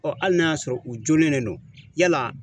Ɔ hali n'a y'a sɔrɔ u joolen de don yala